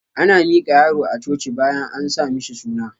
Ana miƙa yaro a coci bayan an sa mishi suna